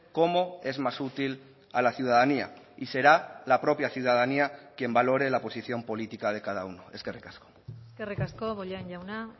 cómo es más útil a la ciudadanía y será la propia ciudadanía quien valore la posición política de cada uno eskerrik asko eskerrik asko bollain jauna